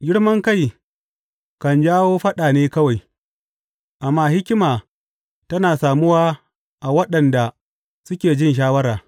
Girmankai kan jawo faɗa ne kawai, amma hikima tana samuwa a waɗanda suke jin shawara.